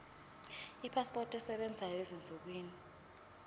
ipasipoti esebenzayo ezinsukwini